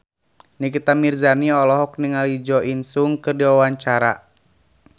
Nikita Mirzani olohok ningali Jo In Sung keur diwawancara